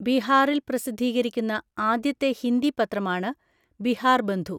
ബീഹാറിൽ പ്രസിദ്ധീകരിക്കുന്ന ആദ്യത്തെ ഹിന്ദി പത്രമാണ് ബിഹാർബന്ധു.